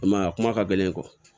I m'a ye a kuma ka gɛlɛn kɔ